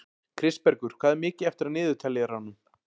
Kristbergur, hvað er mikið eftir af niðurteljaranum?